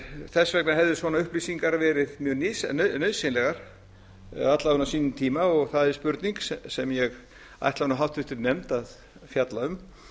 þess vegna hefðu svona upplýsingar verið mjög nauðsynlegar alla vega á sínum tíma og það er spurning sem ég ætla nú háttvirtur nefnd að fjalla um